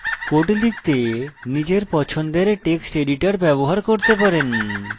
code লিখতে নিজের পছন্দের text editor ব্যবহার করতে পারেন